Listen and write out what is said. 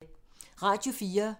Radio 4